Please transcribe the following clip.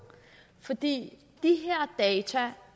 fordi de her data